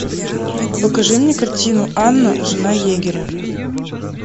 покажи мне картину анна жена егеря